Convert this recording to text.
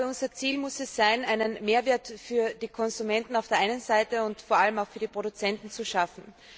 Unser Ziel muss es sein, einen Mehrwert für die Konsumenten auf der einen Seite und vor allem auch für die Produzenten zu schaffen.